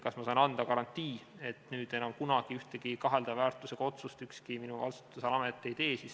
Kas ma saan anda garantii, et enam kunagi ühtegi kaheldava väärtusega otsust ükski minu vastutusala amet ei tee?